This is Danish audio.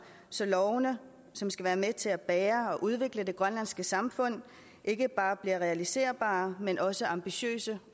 så lovene som skal være med til at bære og udvikle det grønlandske samfund ikke bare bliver realiserbare men også ambitiøse